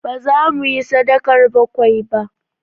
Ba zamu yi sadakar bakwai ba